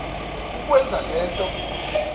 kukwenza le nto